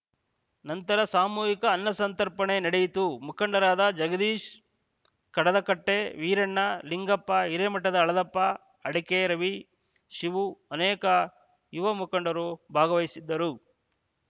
ನಂತರ ಸಾಮೂಹಿಕ ಅನ್ನ ಸಂತರ್ಪಣೆ ನಡೆಯಿತು ಮುಖಂಡರಾದ ಜಗದೀಶ್‌ ಕಡದಕಟ್ಟೆ ವೀರಣ್ಣ ನಿಂಗಪ್ಪ ಹಿರೇಮಠದ ಹಳದಪ್ಪ ಅಡಕೆ ರವಿ ಶಿವು ಅನೇಕ ಯುವ ಮುಖಂಡರು ಭಾಗವಹಿಸಿದ್ದರು